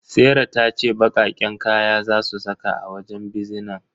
Serah tace baqaqqen kaya zasu saka a wajen bizinan.